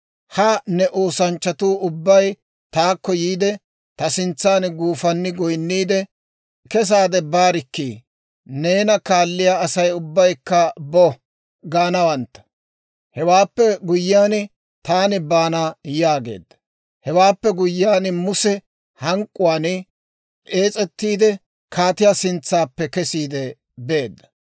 Ha ne oosanchchatuu ubbay taakko yiide, ta sintsan guufanni goynniide, ‹kesaade baarikkii! Neena kaalliyaa Asay ubbaykka bo!› gaanawantta. Hewaappe guyyiyaan taani baana» yaageedda. Hewaappe guyyiyaan Muse hank'k'uwaan ees's'etiidde, kaatiyaa sintsaappe kesiide beedda.